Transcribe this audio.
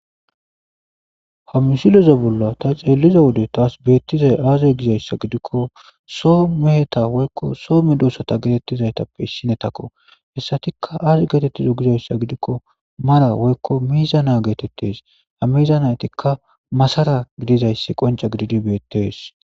hamisileza bolla ta xeelliza wode taas beettizay aaze gizayssa gidikko soo meheta woykko soo me doossata geetettizaytappe issinetakko hessatikka aas geetettizo gizayssa gidikko mara woykko miiza na geetettes ha miiza naytikka masara gidizayssi qonce gididi beettees